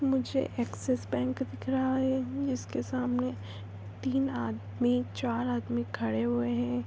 यहा मुजे Axis bank दिख रहा है इसके सामने तीन आदमी चार आदमी खड़े हुए है।